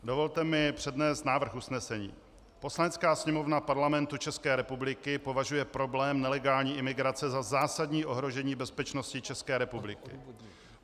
Dovolte mi přednést návrh usnesení: "Poslanecká sněmovna Parlamentu České republiky považuje problém nelegální imigrace za zásadní ohrožení bezpečnosti České republiky.